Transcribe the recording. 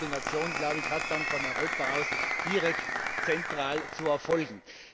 Aber die Koordination hat dann von Europa aus direkt zentral zu erfolgen.